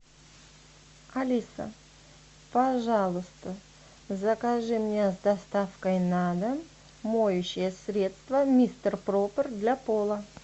алиса пожалуйста закажи мне с доставкой на дом моющее средство мистер пропер для пола